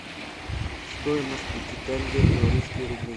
стоимость пяти тенге в белорусские рубли